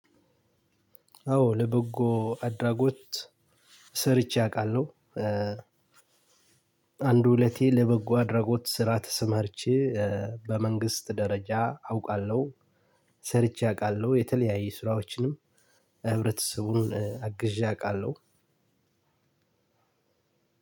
አዎ ለበጎ አድራጎት ሰርቼ አውቃለሁ። አንድ ሁለቴ ለበጎ አድራጎት ስራ ተሰማርቼ በመንግስት ደረጃ አውቃለሁ። ሰርቼ አውቃለሁ። የተለያየ ስራዎችንም ህብረተሰቡን አግዤ አውቃለሁ።